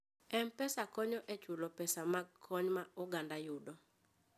M-Pesa konyo e chulo pesa mag kony ma oganda yudo.